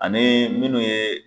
Ani minnu ye.